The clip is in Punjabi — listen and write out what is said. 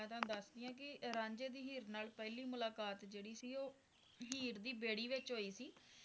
ਮਈ ਤੁਹਾਨੂੰ ਦਸਦੀ ਆ ਕਿ ਰਾਂਝੇ ਦੀ ਹੀਰ ਨਾਲ ਪਹਿਲੀ ਮੁਲਾਕਾਤ ਜਵ੍ਹਡੀ ਸੀ ਉਹ ਹੀਰ ਦੀ ਬੇੜੀ ਵਿਚ ਹੋਈ ਸੀ